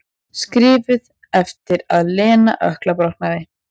Skrifuð eftir að Lena ökklabrotnaði.